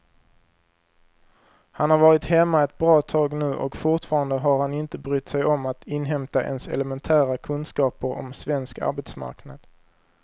Han har varit hemma ett bra tag nu och fortfarande har han inte brytt sig om att inhämta ens elementära kunskaper om svensk arbetsmarknad.